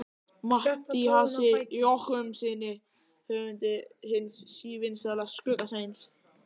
Matthíasi Jochumssyni höfundi hins sívinsæla Skugga-Sveins.